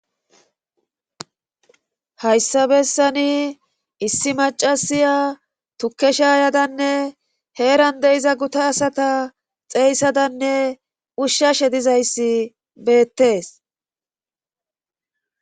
hayssa bessani issi maccasiya tukke shaayadanne heeran de7iza guta asata xeeysadanne ushshashe dizayssi beettes.